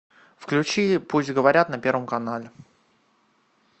включи пусть говорят на первом канале